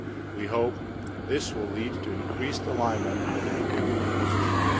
We hope this will lead to increased alignment with the European Union's positions.